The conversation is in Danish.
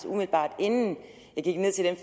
umiddelbart inden jeg gik ned til den